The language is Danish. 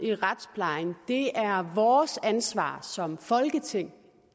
i retsplejen det er vores ansvar som folketing